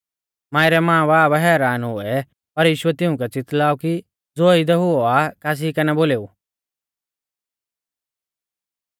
मांई रै मांबाब हैरान हुऐ पर यीशुऐ तिउंकै च़ितलाऔ कि ज़ो इदै हुऔ आ कासी कै ना बोलेऊ